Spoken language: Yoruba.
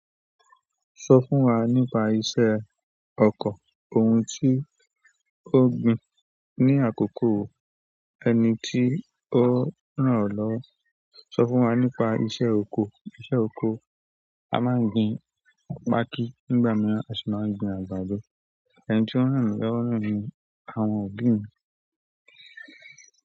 Sọ fún wa nípa iṣẹ́ ọkọ̀. Ohun tí ó gbin ní àkókò wo, ẹni tí ó rán ọ́ lọ́wọ́. Sọ fún wa nípa iṣẹ́ oko. Iṣẹ́ oko, a máa ń gbin pákí nígbà mìíràn a sì máa ń gbin àgbàdo. Ẹni tí ó rán mí lọ́wọ́ náà ni àwọn òbí mi.